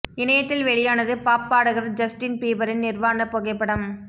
இணையத்தில் வெளியானது பாப் பாடகர் ஜஸ்டீன் பீபரின் நிர்வாணப் புகைப்படம்